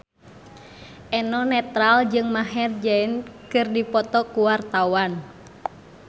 Eno Netral jeung Maher Zein keur dipoto ku wartawan